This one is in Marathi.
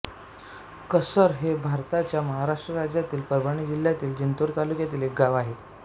कसर हे भारताच्या महाराष्ट्र राज्यातील परभणी जिल्ह्यातील जिंतूर तालुक्यातील एक गाव आहे